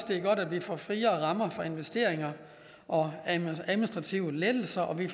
det er godt at vi får friere rammer for investeringer og administrative lettelser og at vi